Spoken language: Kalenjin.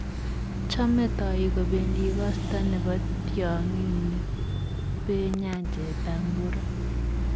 Chomei toik kobendii koosta ne bo tiongii ne be nyanjetab Mburo.